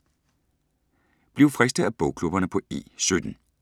Bliv fristet af bogklubberne på E17